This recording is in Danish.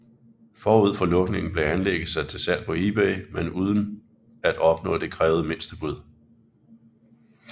Forud for lukningen blev anlægget sat til salg på Ebay men uden at opnå det krævede mindstebud